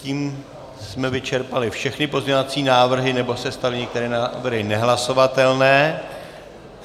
Tím jsme vyčerpali všechny pozměňovací návrhy, nebo se staly některé návrhy nehlasovatelné.